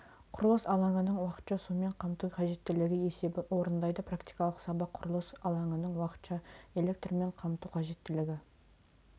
құрылыс алаңының уақытша сумен қамту қажеттілігі есебін орындайды практикалық сабақ құрылыс алаңының уақытша электрмен қамту қажеттілігі